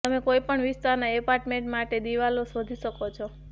તમે કોઈપણ વિસ્તારના એપાર્ટમેન્ટ માટે દિવાલો શોધી શકો છો